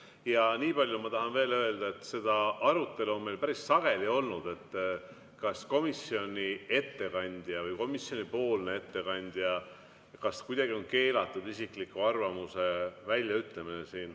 Ja nii palju ma tahan veel öelda, et seda arutelu on meil päris sageli olnud, et kas komisjoni ettekandjal on kuidagi keelatud isikliku arvamuse väljaütlemine.